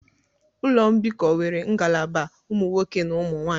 Ụlọ mbikọ nwere ngalaba ụmụ nwoke na ụmụ nwanyị